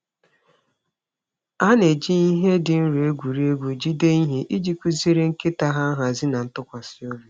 Ha na-eji ihe dị nro egwuri egwu jide ihe iji kụziere nkịta ha nhazi na ntụkwasị obi.